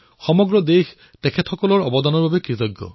সমগ্ৰ দেশ এওঁলোকৰ যোগদানৰ বাবে কৃতজ্ঞ